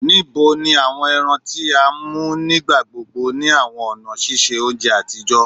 Nibo ni awọn ẹran ti a mu nigbagbogbo ni awọn ọna ṣiṣe ounjẹ atijọ?